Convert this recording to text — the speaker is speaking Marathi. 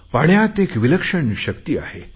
पाण्यात एक विलक्षण शक्ती आहे